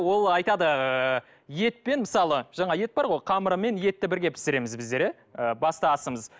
ол айтады ыыы етпен мысалы жаңағы ет бар ғой қамырымен етті бірге пісіреміз біздер иә ы басты асымыз